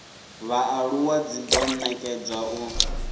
vhaaluwa dzi do nekedzwa u